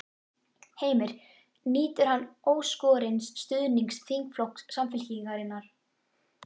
Heimir: Nýtur hann óskorins stuðnings þingflokks Samfylkingarinnar?